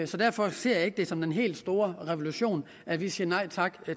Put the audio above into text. så derfor ser jeg det ikke som den helt store revolution at vi siger nej tak